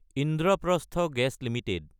Indraprastha gas Ltd